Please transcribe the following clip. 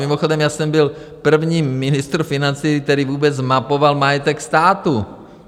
Mimochodem, já jsem byl první ministr financí, který vůbec zmapoval majetek státu.